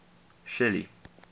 shelly